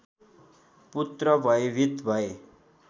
पुत्र भयभीत भए